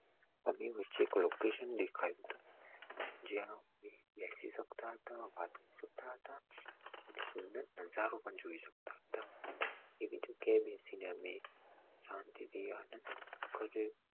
અભીવૃશ્ચિક જેનું સુંદર નજરો પણ જોઈ શકતા હતા એ શાંતિ થી આનંદ કરવો જોઈએ